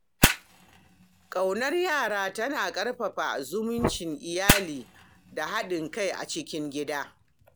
Ƙaunar yara tana ƙarfafa zumuncin iyali da haɗin kai a cikin gida.